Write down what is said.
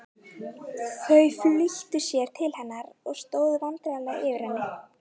Þau flýttu sér til hennar og stóðu vandræðaleg yfir henni.